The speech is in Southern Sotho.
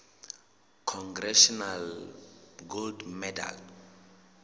congressional gold medal